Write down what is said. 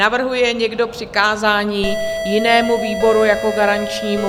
Navrhuje někdo přikázání jinému výboru jako garančnímu?